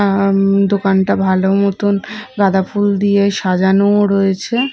দোকানটা ভালো মতন গাঁদা ফুল দিয়ে সাজানোও রয়েছে।